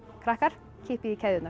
krakkar kippið í keðjurnar